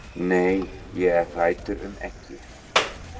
Nei, ég er hræddur um ekki.